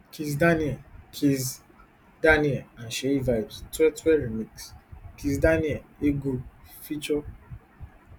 kizz daniel kizz daniel and seyi vibez twe twe remix kizz daniel egwu feature